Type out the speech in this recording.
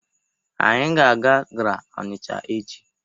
Anyị ga-aga GRA Ọnịcha echi.